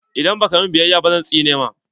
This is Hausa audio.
Idan ba ka min biyaya ba zan tsine maka!